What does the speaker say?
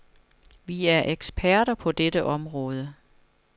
Vi er eksperter på dette område.